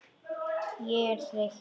Ég er þreytt.